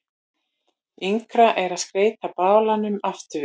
Yngra er að skeyta balanum aftan við.